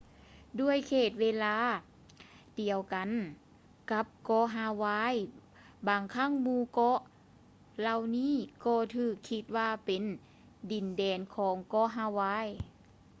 ດ້ວຍເຂດເວລາດຽວກັນກັບເກາະຮາວາຍ ບາງຄັ້ງໝູ່ເກາະເຫຼົ່ານີ້ກໍຖືກຄິດວ່າເປັນ ດິນແດນຂອງເກາະຮາວາຍ